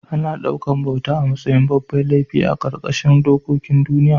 Ana ɗaukar bauta a matsayin babban laifi a ƙarƙashin dokokin duniya